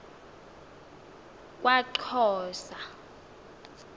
kwaxhosa